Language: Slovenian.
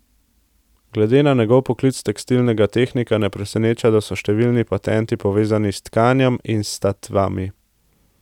Glede na njegov poklic tekstilnega tehnika ne preseneča, da so številni patenti povezani s tkanjem in statvami.